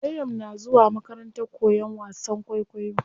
Maryam na zuwa makarantar koyan wasan kwaikwayo.